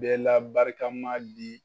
Bɛɛ la barikama di.